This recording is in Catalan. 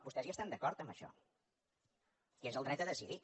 vostès hi estan d’acord en això que és el dret a decidir